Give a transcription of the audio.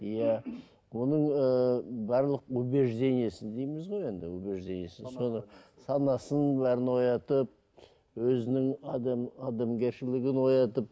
иә оның ыыы барлық убеждениесін дейміз ғой енді убеждениесін соны санасын бәрін оятып өзінің адам адамгершілігін оятып